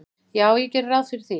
"""Já, ég geri ráð fyrir því."""